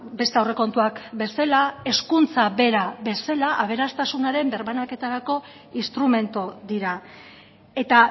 beste aurrekontuak bezala hezkuntza bera bezala aberastasunaren birbanaketarako instrumentu dira eta